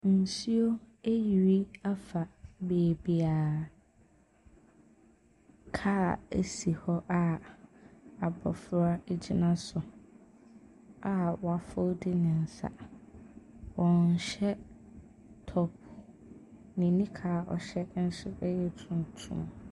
Nsuo ayiri afa baabiara. Car si hɔ a abɔfra gyina so a wɔafoldi ne nsa. Ɔnhyɛ top. Ne nika a ɔhyɛ nso yɛ tuntum.